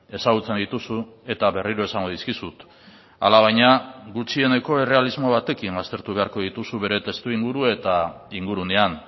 ezagutzen dituzu eta berriro esango dizkizut alabaina gutxieneko errealismo batekin aztertu beharko dituzu bere testuinguru eta ingurunean